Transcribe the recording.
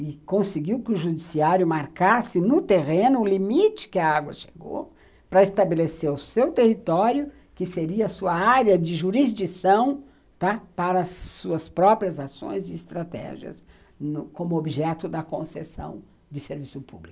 e conseguiu que o judiciário marcasse no terreno o limite que a água chegou para estabelecer o seu território, que seria a sua área de jurisdição, tá, para as suas próprias ações e estratégias, como objeto da concessão de serviço público.